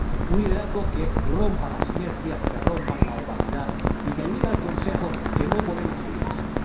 un liderazgo que rompa las inercias, que rompa la opacidad y que le diga al Consejo que no podemos seguir así.